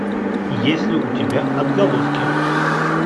есть ли у тебя отголоски